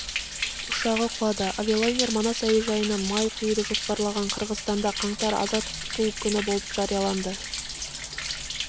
ұшағы құлады авиалайнер манас әуежайынан май құюды жоспарлаған қырғызстанда қаңтар аза тұту күні болып жарияланды